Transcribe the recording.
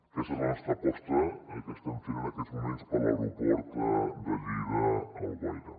aquesta és la nostra aposta que estem fent en aquests moments per a l’aero·port de lleida·alguaire